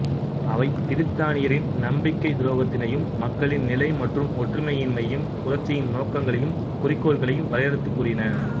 அவை பிரித்தானியரின் நம்பிக்கைத் துரோகத்தினையும் மக்களின் நிலை மற்றும் ஒற்றுமையின்மையையும் புரட்சியின் நோக்கங்களையும் குறிக்கோள்களையும் வரையறுத்துக் கூறின